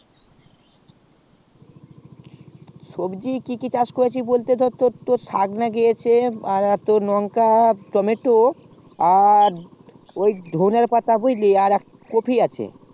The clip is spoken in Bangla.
সবজি কি কি চাষ করেছি বলতে তোর তোর সগ্ লাগিয়েছি লংকা টমেটো আর ধোনের পাতা আর একটু কপি আছে